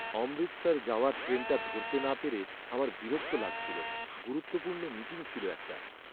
অমৃতসর যাওয়ার ট্রেনটা ধরতে না পেরে আমার বিরক্ত লাগছিল, গুরুত্বপূর্ণ মিটিং ছিল একটা।